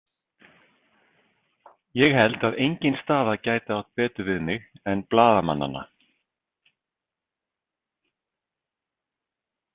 Ég held að engin staða gæti átt betur við mig en blaðamannanna.